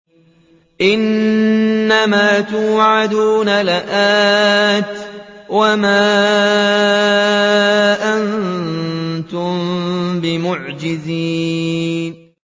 إِنَّ مَا تُوعَدُونَ لَآتٍ ۖ وَمَا أَنتُم بِمُعْجِزِينَ